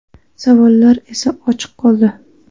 Savollar esa ochiq qoldi.